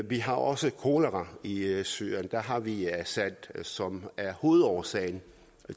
vi har også kolera i i syrien der har vi assad som er hovedårsagen